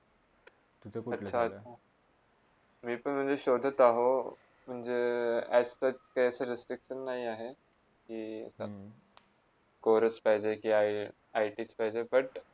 तू कुठेले सांग मी पण शोधत आहे म्हणजे as per असे काही respective नाही आहे कि मी पण course पाहिजे के IT पाहिजे but